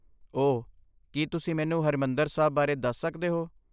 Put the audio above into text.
ਓ, ਕੀ ਤੁਸੀਂ ਮੈਨੂੰ ਹਰਿਮੰਦਰ ਸਾਹਿਬ ਬਾਰੇ ਦੱਸ ਸਕਦੇ ਹੋ?